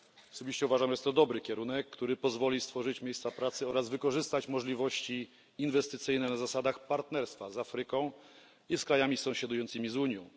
Osobiście uważam, że jest to dobry kierunek, który pozwoli stworzyć miejsca pracy oraz wykorzystać możliwości inwestycyjne na zasadach partnerstwa z Afryką i z krajami sąsiadującymi z Unią.